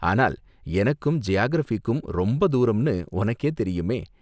ஆனால், எனக்கும் ஜியாகிரஃபிக்கும் ரொம்ப தூரம்னு உனக்கே தெரியுமே!